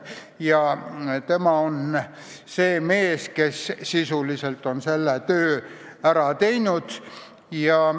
Tema on see mees, kes sisuliselt on selle töö ära teinud.